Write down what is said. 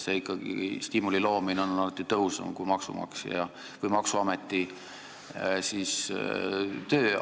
Stiimuli olemasolu toimib alati tõhusamalt kui maksuameti töö.